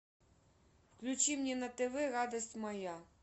включи мне на тв радость моя